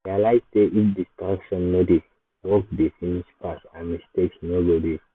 i realize sey if distraction no dey work dey finish fast and mistakes no go dey.